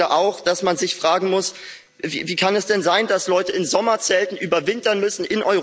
Ich finde auch, dass man sich fragen muss Wie kann es denn sein, dass in Europa Leute in Sommerzelten überwintern müssen?